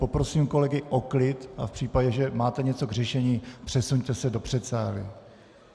Poprosím kolegy o klid a v případě, že máte něco k řešení, přesuňte se do předsálí.